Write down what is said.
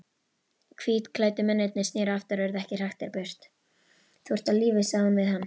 Hvítklæddu mennirnir sneru aftur og urðu ekki hraktir burt.